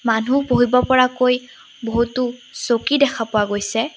মানুহ বহিব পৰাকৈ বহুটো চকী দেখা পোৱা গৈছে।